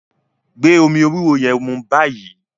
gbé omí ewé ewúro yén mú bayii!